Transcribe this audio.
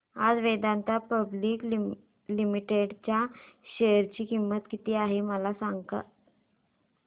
आज Vedanta public limited च्या share ची किंमत किती आहे मला सांगा